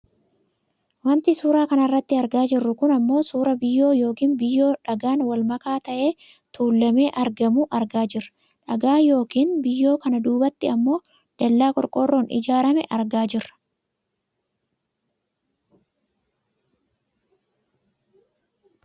Wanti suuraa kanarratti argaa jirru kun ammoo suuraa biyyoo yookaan biyyoo dhagaan wal makaa ta'e tuullamee argamuu argaa jirra. Dhagaa yookaan biyyoo kana duubatti ammoo dallaa qorqoorroon ijaarrame argaa jirra.